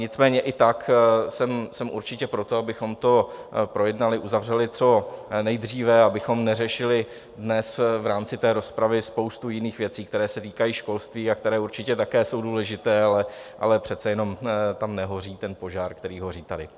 Nicméně i tak jsem určitě pro to, abychom to projednali, uzavřeli co nejdříve, abychom neřešili dnes v rámci té rozpravy spoustu jiných věcí, které se týkají školství a které určitě také jsou důležité, ale přece jenom tam nehoří ten požár, který hoří tady.